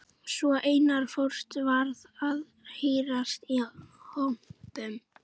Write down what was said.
Svo Einar fóstri varð að hírast í kompum.